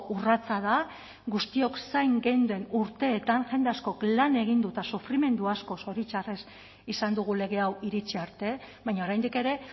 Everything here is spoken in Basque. urratsa da guztiok zain geunden urteetan jende askok lan egin du eta sufrimendu asko zoritxarrez izan dugu lege hau iritsi arte baina oraindik ere